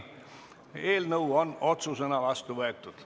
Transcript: Eelnõu on otsusena vastu võetud.